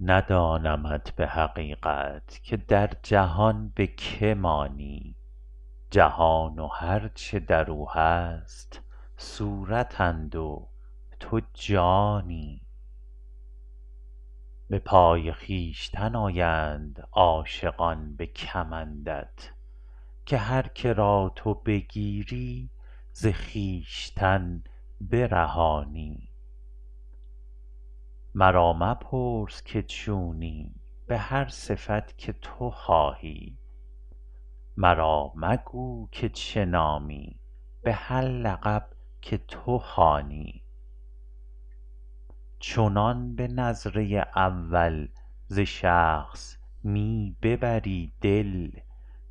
ندانمت به حقیقت که در جهان به که مانی جهان و هر چه در او هست صورتند و تو جانی به پای خویشتن آیند عاشقان به کمندت که هر که را تو بگیری ز خویشتن برهانی مرا مپرس که چونی به هر صفت که تو خواهی مرا مگو که چه نامی به هر لقب که تو خوانی چنان به نظره اول ز شخص می ببری دل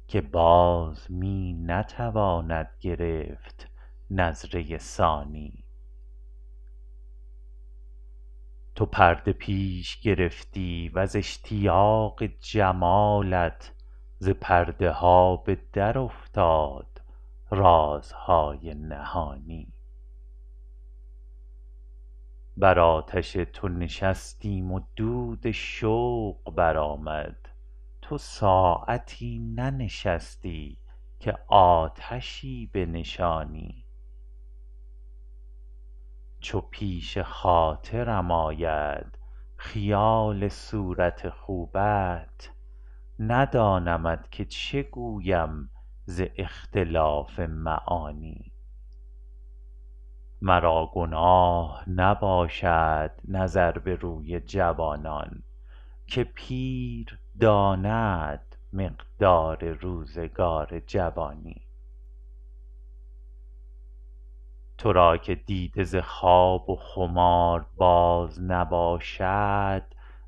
که باز می نتواند گرفت نظره ثانی تو پرده پیش گرفتی و ز اشتیاق جمالت ز پرده ها به درافتاد رازهای نهانی بر آتش تو نشستیم و دود شوق برآمد تو ساعتی ننشستی که آتشی بنشانی چو پیش خاطرم آید خیال صورت خوبت ندانمت که چه گویم ز اختلاف معانی مرا گناه نباشد نظر به روی جوانان که پیر داند مقدار روزگار جوانی تو را که دیده ز خواب و خمار باز نباشد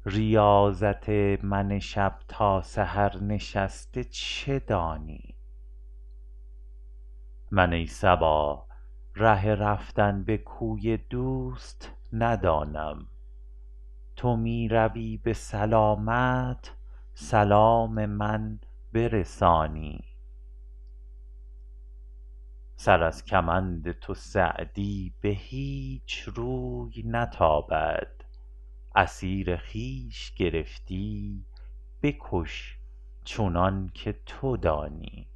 ریاضت من شب تا سحر نشسته چه دانی من ای صبا ره رفتن به کوی دوست ندانم تو می روی به سلامت سلام من برسانی سر از کمند تو سعدی به هیچ روی نتابد اسیر خویش گرفتی بکش چنان که تو دانی